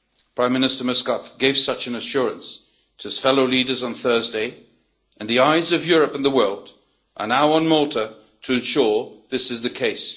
Prime Minister Muscat gave such an assurance to his fellow leaders on Thursday and the eyes of Europe and the world are now on Malta to ensure this is the case.